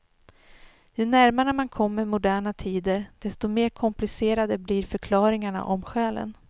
Ju närmare man kommer moderna tider desto mer komplicerade blir förklaringarna om själen.